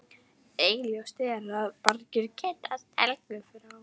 Augljóst er að margir kannast við Helgu frá